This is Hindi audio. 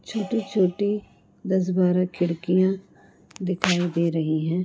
छोटी छोटी दस बारह खिड़कियां दिखाई दे रही हैं।